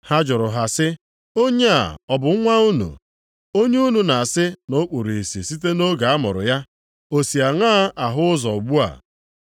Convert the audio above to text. Ha jụrụ ha sị, “Onye a ọ bụ nwa unu, onye unu na-asị na o kpuru ìsì site nʼoge a mụrụ ya? O si aṅaa ahụ ụzọ ugbu a?”